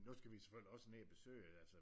Nu skal vi selvfølgelig også ned og besøge altså